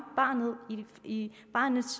barnets